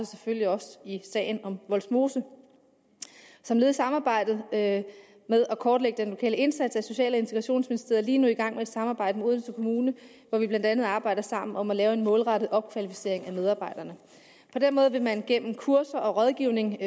selvfølgelig også i sagen om vollsmose som led i samarbejdet om at kortlægge den lokale indsats er social og integrationsministeriet lige nu i gang med et samarbejde med odense kommune hvor vi blandt andet arbejder sammen om at lave en målrettet opkvalificering af medarbejderne på den måde vil man gennem kurser og rådgivning